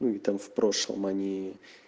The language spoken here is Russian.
ну и там в прошлом они